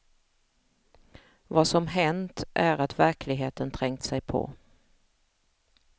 Vad som hänt är att verkligheten trängt sig på.